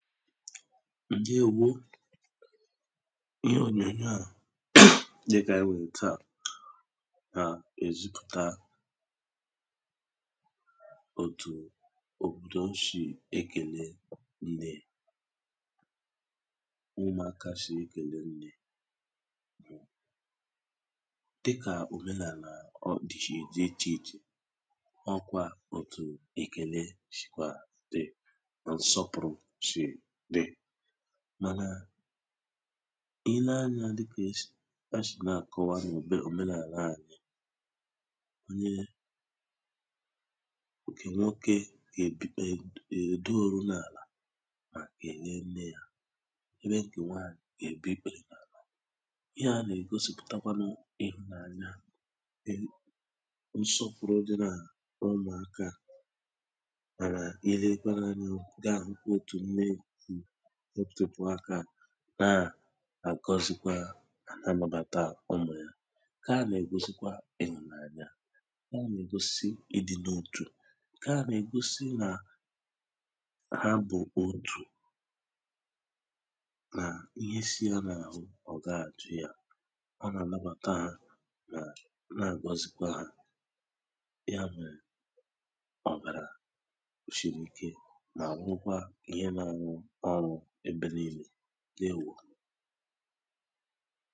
ǹdewō ihe ònyònyoa dikà ànyị nwèrè taa nà-èzipùta òtù òtù oshì ekèle nnē ụmụ̀̀aka sì ekèle dịkà òmenàlà ọdị̀ sì dị ịchè ịchè ọ̀kwà otu èkèle shìkwà dị nà nsọpụ̀rụ sì dị́ mànà ị lēē anya dịkà e sì e shì na-àkọ̀wa ụdị òmenàlà a ihe ǹkè nwokē gà-èduòru n’àlà mà kèlee nnē ya ebe ǹkè nwanyì gà-ègbu ikpèrè n’àlà ihea nà-ègosipùtakwalū ịhụ̀nanya nye nsọpụ̀rụ dị n’ụmụ̀akā mànà ịlekwa anyu gị àhụkwa otù mee otēkwe aka ná-àgɔ́zík n na-àlabàtakwa ụmụ̀ ya ha nà-ègosikwa ihùnanya ha nà-ègosikwa idina otù ǹkea nà-ègosi nà nà ha bụ̀ otù mà ihe si ha n’àhụ ọ̀gaghị àjụ ya ọ nà-àlabàta ha mànà àgọzikwa ha ya mèrè ọ̀bàrà shiri ike nà-ahụ̀kwa ihe n’alụ ọlụ ebe niìle ǹdèwō